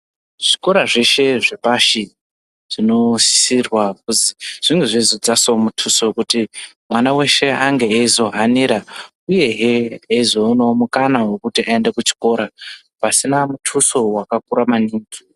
Zvikora zveshe zvepashi zvinosisirwa kuzi zvinge zveizodzasawo muthuso wekuti mwana weshe ange eizohanira uyehe eizoonawo mukana wekuti aende kuchikora, pasina muthuso wakakura maningi.